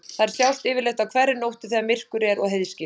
Þær sjást yfirleitt á hverri nóttu þegar myrkur er og heiðskírt.